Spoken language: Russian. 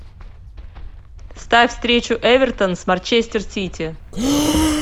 ставь встречу эвертон с манчестер сити